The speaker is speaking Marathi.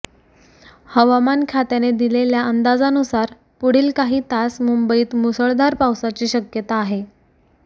हवामान खात्याने दिलेल्या अंदाजानुसार पुढील काही तास मुंबईत मुसळधार पावसाची शक्यता आहे